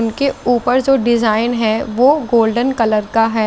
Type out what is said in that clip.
इनके उपर जो डिजाईन है वो गोल्डन कलर का है।